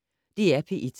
DR P1